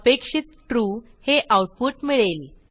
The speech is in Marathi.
अपेक्षित ट्रू हे आऊटपुट मिळेल